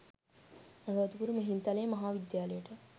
අනුරාධපුර මිහින්ත‍ලේ මහා විද්‍යාලයට